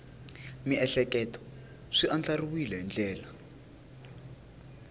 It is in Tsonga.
miehleketo swi andlariweke hi ndlela